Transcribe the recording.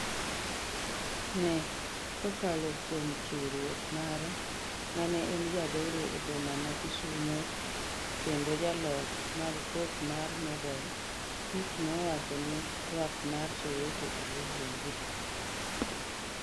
ne: kokalo kuom chiwruok mare, mane en jadolo e boma ma Kisumo kendo jaloch mag pok mar nobel Tutu nowacho ni twak mar Soweto eloo wuongi